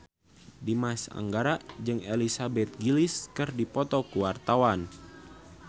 Dimas Anggara jeung Elizabeth Gillies keur dipoto ku wartawan